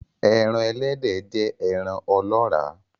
Eran Ẹlẹ́dẹ̀ jẹ́ ẹran ọlọ́ọ́rà